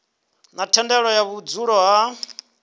na thendelo ya vhudzulo ha